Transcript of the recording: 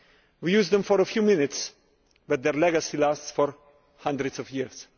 We use them for a few minutes but their legacy lasts for hundreds of years.